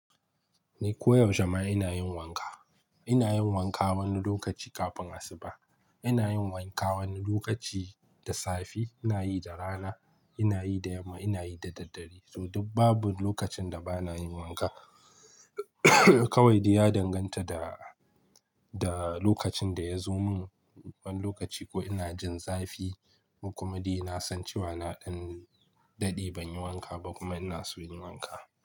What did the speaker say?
Ni koyaushe ma ina yin wanka. Ina yin wanka wani lokaci kafin asuba, ina yin wanka wani lokaci da safe, ina yi da rana, ina yi da yamma, ina yi da daddare. To, babu lokacin da ba na yin wanka. Kawai dai ya danganta da, da lokacin da ya zo min wani lokaci ko ina jin zafi ko kuma dai na san cewa na ɗan daɗe ban yi wanka ba kuma ina so yin wanka.